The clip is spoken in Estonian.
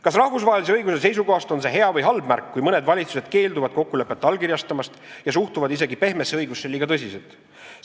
" Kas rahvusvahelise õiguse seisukohast on see hea või halb märk, kui mõned valitsused keelduvad kokkulepet allkirjastamast ja suhtuvad isegi pehmesse õigusesse liiga tõsiselt?